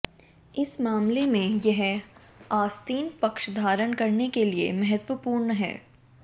इस मामले में यह आस्तीन पक्ष धारण करने के लिए महत्वपूर्ण है